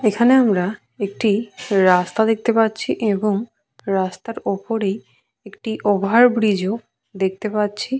এখানে আমরা একটি রাস্তা দেখতে পাচ্ছি এবং রাস্তার ওপরেই একটি ওভারব্রিজ -ও দেখতে পাচ্ছি।